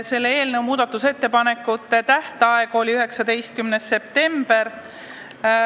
Selle eelnõu muudatusettepanekute tähtaeg oli 19. september.